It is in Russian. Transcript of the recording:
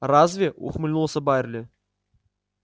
разве ухмыльнулся байерли